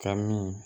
Ka min